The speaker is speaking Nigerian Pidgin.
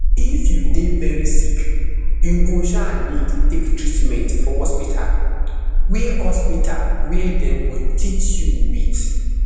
if you dey veri sick you go um need take treatment for hospital wia hospital wia dem go teat you wit